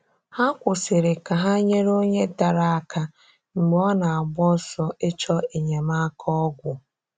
Hà kwụsịrị̀ ka ha nyere onye darà aka mgbe ọ na-agba ọsọ ịchọ enyemáka ọgwụ.